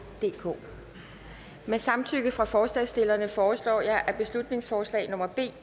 DK med samtykke fra forslagsstillerne foreslår jeg at beslutningsforslag nummer b